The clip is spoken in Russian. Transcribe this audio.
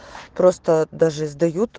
просто даже сдают